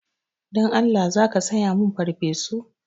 Dan Allah za ka saya min farfesu?